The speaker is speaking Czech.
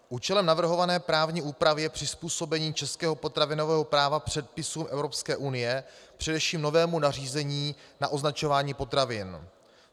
Účelem navrhované právní úpravy je přizpůsobení českého potravinového práva předpisům EU, především novému nařízení na označování potravin.